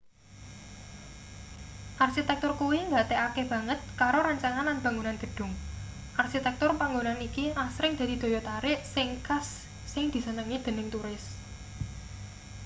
arsitektur kuwi nggatekake banget karo rancangan lan bangunan gedhung arsitektur panggonan iki asring dadi daya tarik sing khas sing disenengi dening turis